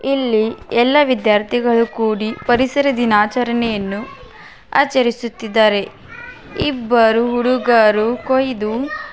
ಇಲ್ಲಿ ಎಲ್ಲ ವಿದ್ಯಾರ್ಥಿಗಳು ಕೂಡಿ ಪರಿಸರ ದಿನಾಚರಣೆಯನ್ನು ಆಚರಿಸುತ್ತಿದ್ದಾರೆ. ಇಬ್ಬರು ಹುಡುಗರು ಕೊಯ್ದು--